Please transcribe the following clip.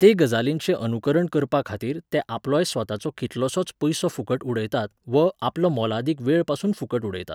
ते गजालीचें अनुकरण करपाखातीर ते आपलोय स्वताचो कितलोसोच पयसो फुकट उडयतात व आपलो मोलादीक वेळपासून फुकट उडयतात.